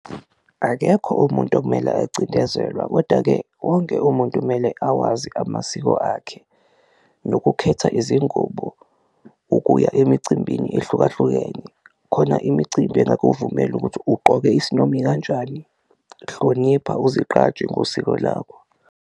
Akekho umuntu okumele acindezelwa koda-ke wonke umuntu kumele awazi amasiko akhe nokukhetha izingubo ukuya emicimbini ehlukahlukene, khona imicimbi engakuvumeli ukuthi ugqoke isinoma ikanjani, hlonipha uzigqaje ngosiko lakho.